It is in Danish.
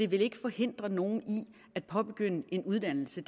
vil forhindre nogen i at påbegynde en uddannelse